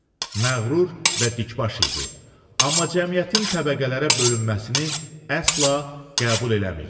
Məğrur və dikbaş idi, amma cəmiyyətin təbəqələrə bölünməsini əsla qəbul eləmirdi.